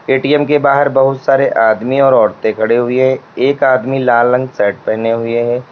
ATM के बाहर बहुत सारे आदमी और औरतें खड़े हुए हैं एक आदमी लाल रंग शर्ट पहने हुए है।